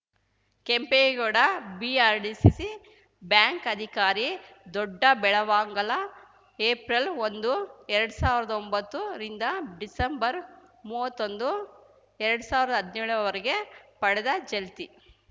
Kempegowda BRDCC bank ಅಧಿಕಾರಿ Doddabelavangala April ಒಂದು ಎರಡ್ ಸಾವಿರ್ದಾ ಒಂಬತ್ತು ರಿಂದ ಡಿಸೆಂಬರ್‌ ಮೂವತ್ತೊಂದು ಎರಡ್ ಸಾವಿರ್ದಾ ಹದ್ನ್ಯೋಳರ ವರೆಗೆ ಪಡೆದ ಚಲ್ತಿ